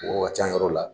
Mɔgɔw ka ca yɔrɔ la